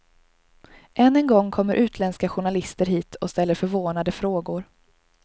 Än en gång kommer utländska journalister hit och ställer förvånade frågor.